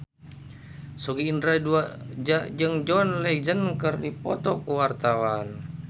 Sogi Indra Duaja jeung John Legend keur dipoto ku wartawan